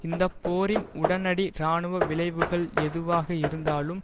இந்த போரின் உடனடி இராணுவ விளைவுகள் எதுவாக இருந்தாலும்